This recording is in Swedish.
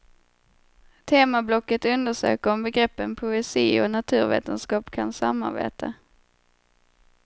Temablocket undersöker om begreppen poesi och naturvetenskap kan samarbeta.